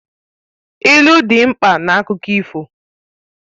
Ilu dị mkpa na akụkọ ifo